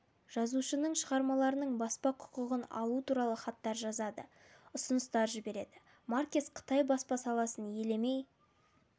жазушының шығармаларының баспа құқығын алу туралы хаттар жазады ұсыныстар жібереді маркес қытай баспа саласын елемей